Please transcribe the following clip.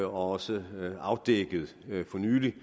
også er afdækket for nylig